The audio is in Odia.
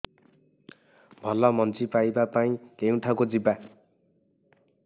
ଭଲ ମଞ୍ଜି ପାଇବା ପାଇଁ କେଉଁଠାକୁ ଯିବା